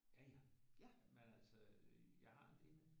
Ja ja men altså jeg har en del